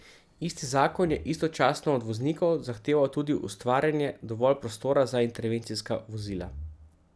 Isti zakon je istočasno od voznikov zahteval tudi ustvarjanje dovolj prostora za intervencijska vozila.